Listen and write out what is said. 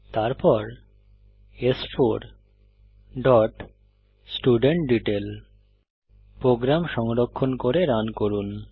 তারপর স্4 dot student detail program সংরক্ষণ করে রান করুন